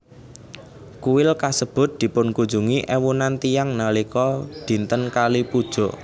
Kuil kasebut dipunkunjungi éwunan tiyang nalika dinten Kali Puja